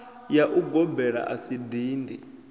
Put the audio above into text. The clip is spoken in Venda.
ya ugobela a si dindi